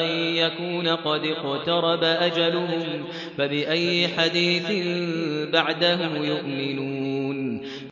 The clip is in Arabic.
أَن يَكُونَ قَدِ اقْتَرَبَ أَجَلُهُمْ ۖ فَبِأَيِّ حَدِيثٍ بَعْدَهُ يُؤْمِنُونَ